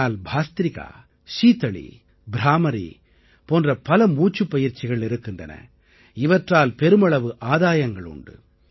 ஆனால் பாஸ்த்ரிகா சீதலீ ப்ராமரீ போன்ற பல மூச்சுப் பயிற்சிகள் இருக்கின்றன இவற்றால் பெருமளவு ஆதாயங்கள் உண்டு